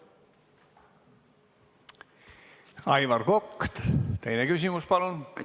Aivar Kokk, teine küsimus, palun!